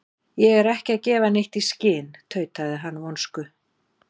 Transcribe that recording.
Ég er ekki að gefa neitt í skyn- tautaði hann vonsku